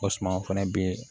O suman fana bi